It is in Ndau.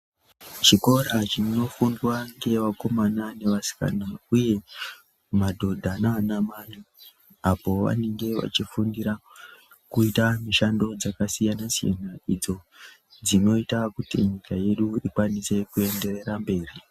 Chikora chinofundwa ngevakomana nevasikana uye madhodha naanamai apo vanenge vachifundira kuita mishando dzakasiyana-siyana idzo dzinoita kuti nyika yedu ikwanise kuenderera mberi.